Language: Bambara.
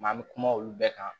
an bɛ kuma olu bɛɛ kan